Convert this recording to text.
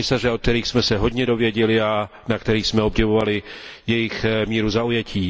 Komisaře, od kterých jsme se hodně dověděli a na kterých jsme obdivovali jejich míru zaujetí.